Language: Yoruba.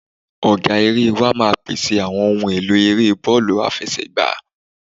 Ọ̀gá erée wa máa pẹ̀sẹ̀ àwọn ohun èlò eré bọ́ọ̀lù àfẹsẹ̀gbá.